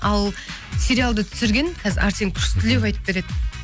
ал сериалды түсірген қазір арсен күштілеп айтып береді